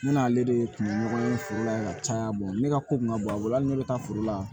Ne n'ale de ye kungo ye foro la ka caya ne ka ko kun ka bon a bolo hali ni ne bɛ taa foro la